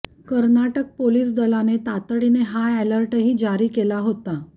Karnataka police दलाने तातडीने high अॅलर्टही जारी केला होता